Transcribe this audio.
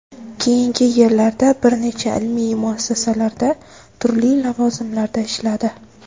Keyingi yillarda bir necha ilmiy muassasalarda turli lavozimlarda ishladi.